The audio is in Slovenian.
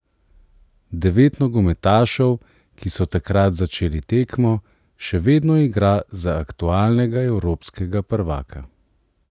Devet nogometašev, ki so takrat začeli tekmo, še vedno igra za aktualnega evropskega prvaka.